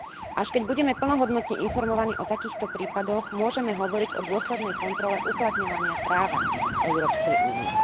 Až keď budeme plnohodnotne informovaní o takýchto prípadoch, môžeme hovoriť o dôslednej kontrole uplatňovania práva Európskej únie.